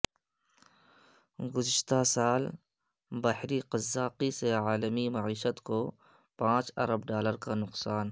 گذشتہ سال بحری قزاقی سے عالمی معیشت کو پانچ ارب ڈالر کا نقصان